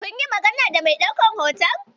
Kun yi magana da mai ɗaukan hoton?